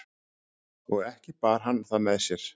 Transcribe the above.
og ekki bar hann það með sér